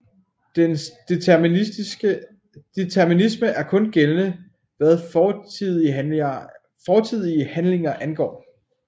Dens determinisme er kun gældende hvad fortidige handlinger angår